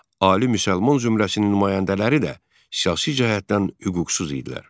Ali müsəlman zümrəsinin nümayəndələri də siyasi cəhətdən hüquqsuz idilər.